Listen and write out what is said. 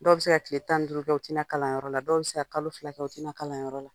Dɔw bɛ se ka tile tan duuru kɛ u tɛ na kalanyɔrɔ la dɔw bɛ se ka kalo fila kɛ tɛ na kalanyɔrɔ la